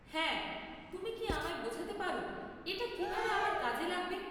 হ্যাঁ, তুমি কি আমায় বোঝাতে পার এটা কিভাবে আমার কাজে লাগবে?